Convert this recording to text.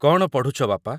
କ'ଣ ପଢ଼ୁଛ, ବାପା ?